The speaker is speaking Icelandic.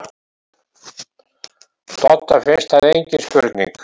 Dodda finnst það engin spurning.